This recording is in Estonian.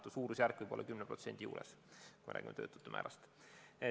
Võib-olla suurusjärk on 10%, kui me räägime töötute suhtarvust.